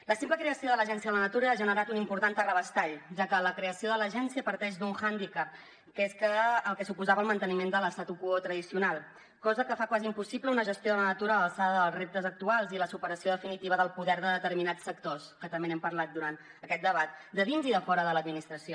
la simple creació de l’agència de la natura ha generat un important terrabastall ja que la creació de l’agència parteix d’un hàndicap que és el que suposava el manteniment de l’statu quo tradicional cosa que fa quasi impossible una gestió de la natura a l’alçada dels reptes actuals i la superació definitiva del poder de determinats sectors que també n’hem parlat durant aquest debat de dins i de fora de l’administració